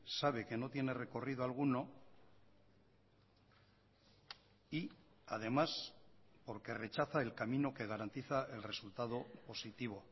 sabe que no tiene recorrido alguno y además porque rechaza el camino que garantiza el resultado positivo